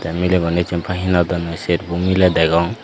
tey miley guney jinpay hinodonnoi serbo miley degong.